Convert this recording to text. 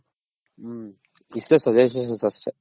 ಹ್ಮ್ಇ ಷ್ಟೇ Suggestions ಅಷ್ಟೇ.